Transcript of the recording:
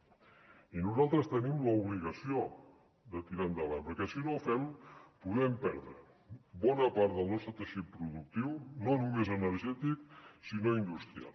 i nosaltres tenim l’obligació de tirar endavant perquè si no ho fem podem perdre bona part del nostre teixit productiu no només energètic sinó industrial